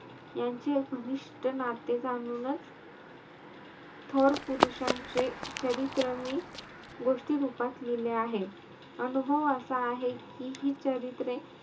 यांचे घनिष्ट नाते जाणूनचं थोर पुरुषांचे चरित्र मी गोष्टीरूपात लिहिले आहे. अनुभव असा आहे कि, हि चरित्रे,